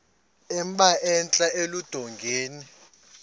emba entla eludongeni